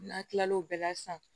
N'a kilal'o bɛɛ la sisan